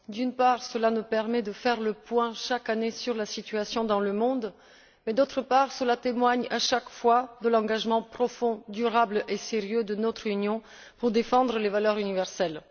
D'une part, il nous permet de faire le point chaque année sur la situation dans le monde, mais, d'autre part, il témoigne à chaque fois de l'engagement profond, durable et sérieux de notre Union pour défendre les valeurs universelles.